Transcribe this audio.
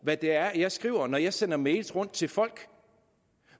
hvad det er jeg skriver når jeg sender mails rundt til folk